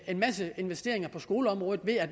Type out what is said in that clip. en masse investeringer på skoleområdet ved at